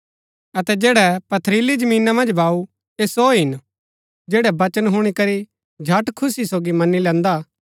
अतै जैड़ै पथरीली जमीना मन्ज बाऊ ऐह सो हिन जैड़ै वचन हुणी करी झट खुशी सोगी मनी लैन्दा